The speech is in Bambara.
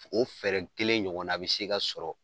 O fɛɛrɛ kelen ɲɔgɔn na bi se ka sɔrɔ